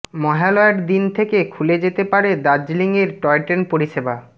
মহালয়ার দিন থেকে খুলে যেতে পারে দার্জিলিংয়ে টয়ট্রেন পরিষেবা